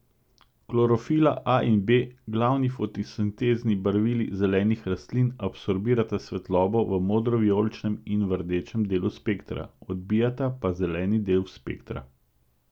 Klorofila a in b, glavni fotosintezni barvili zelenih rastlin, absorbirata svetlobo v modrovijoličnem in v rdečem delu spektra, odbijata pa zeleni del spektra.